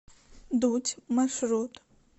дуть маршрут